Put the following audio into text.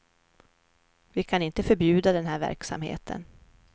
Vi kan inte förbjuda den här verksamheten.